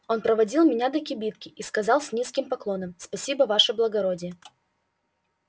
он проводил меня до кибитки и сказал с низким поклоном спасибо ваше благородие